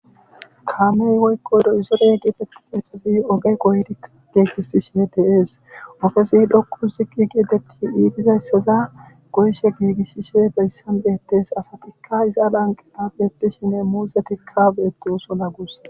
Kaame woykko dozore getetidayti oge go'ishe deetees. ogezi dhoqu ziqi gi iitidayssa goyishe giigisishe hayssan betees. asatikka iza lanqqen beetishenne muuzetikka beetosona guussikko.